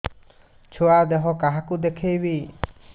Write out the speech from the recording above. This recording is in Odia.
ଛୁଆ ଦେହ କାହାକୁ ଦେଖେଇବି